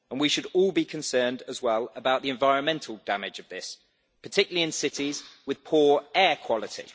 We should all be concerned as well about the environmental damage of this, particularly in cities with poor air quality.